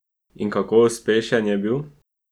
In kako uspešen je bil?